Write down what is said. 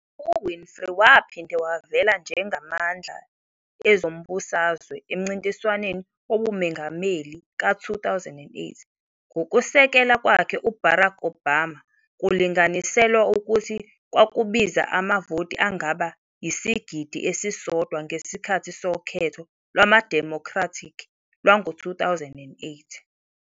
U-Winfrey waphinde wavela njengamandla ezombusazwe emncintiswaneni wobumongameli ka-2008, ngokusekela kwakhe u-Barack Obama kulinganiselwa ukuthi kwakubiza amavoti angaba yisigidi esisodwa ngesikhathi sokhetho lwamaDemocratic lwango-2008.